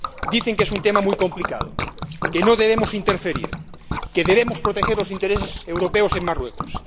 dicen que es un tema muy complicado, que no debemos interferir, que debemos proteger los intereses europeos en Marruecos.